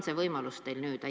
See võimalus teil nüüd on.